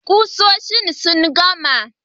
Kusoshin sun gama.